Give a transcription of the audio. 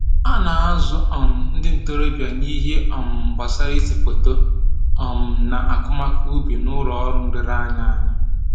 A na-azụ um ndị ntoroọbịa n'ihe um gbasara ise foto um na akọmakọ ubi n'ụlọ ọrụ nlereanya anyị